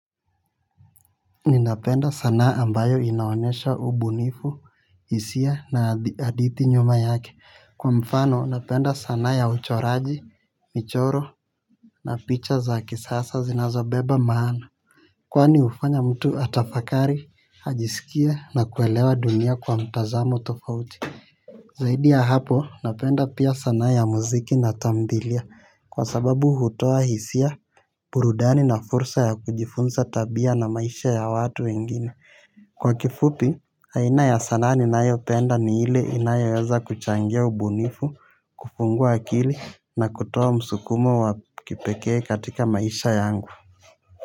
Ninapenda sanaa ambayo inaonesha ubunifu hisia na hadithi nyuma yake kwa mfano napenda sana ya uchoraji, michoro na picha za kisasa zinazo beba maana. Kwani hufanya mtu atafakari, ajisikie na kuelewa dunia kwa mtazamo tofauti. Zaidi ya hapo napenda pia sana ya muziki na tambilia kwa sababu hutoa hisia burudani na fursa ya kujifunza tabia na maisha ya watu wengine. Kwa kifupi aina ya sanaa ninayo penda ni ile inayoweza kuchangia ubunifu kufungua akili na kutoa msukumo wa kipekee katika maisha yangu.